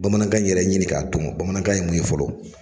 Bamanankan yɛrɛ ɲini k'a dɔn bamanankan ye mun ye fɔlɔ.